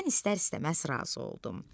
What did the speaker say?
Mən istər-istəməz razı oldum.